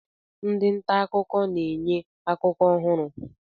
Ndị nta akụkọ na-enye akụkọ ọhụrụ.